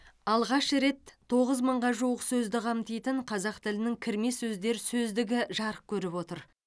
алғаш рет тоғыз мыңға жуық сөзді қамтитын қазақ тілінің кірме сөздер сөздігі жарық көріп отыр